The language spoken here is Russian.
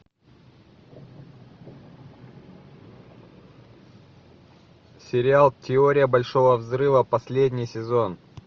сериал теория большого взрыва последний сезон